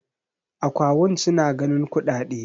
akawun suna ganin kuɗaɗe